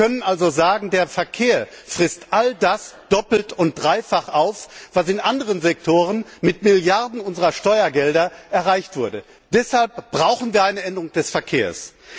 Wir können also sagen Der Verkehr frisst all das doppelt und dreifach auf, was in anderen Sektoren mit Milliarden unserer Steuergelder erreicht wurde. Deshalb brauchen wir eine Änderung des Verkehrs.